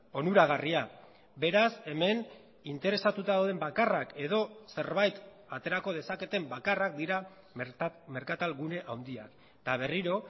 onuragarria beraz hemen interesatuta dauden bakarrak edo zerbait aterako dezaketen bakarrak dira merkatal gune handiak eta berriro